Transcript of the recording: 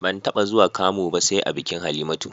Ban taɓa zuwa kamu ba sai a bikin Halimatu